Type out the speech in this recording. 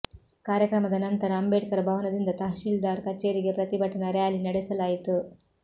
ಕಾರ್ಯಕ್ರಮದ ನಂತರ ಅಂಬೇಡ್ಕರ್ ಭವನದಿಂದ ತಹಶೀಲ್ದಾರ್ ಕಚೇರಿಗೆ ಪ್ರತಿಭಟನಾ ರ್ಯಾಲಿ ನಡೆಸಲಾಯಿತು